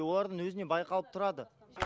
олардың өзінен байқалып тұрады